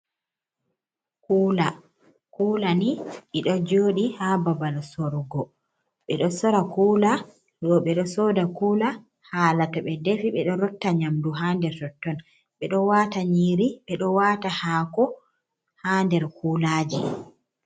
Kula ni ɗiɗo joɗi ha babal sorgo, ɓeɗo sora kula ɗo ɓeɗo soda kula hala to be defi ɓeɗo rotta nyamdu ha nder totton, ɓeɗo wata nyiri ɓeɗo wata hako ha nder kulaji.